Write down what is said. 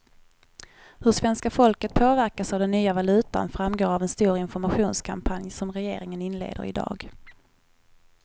Hur svenska folket påverkas av den nya valutan framgår av en stor informationskampanj som regeringen inleder i dag.